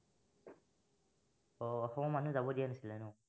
আহ অসমৰ মানুহ যাব দিয়া নাছিলে ন